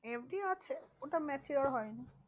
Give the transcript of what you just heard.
FD আছে ওটা mature হয় নি।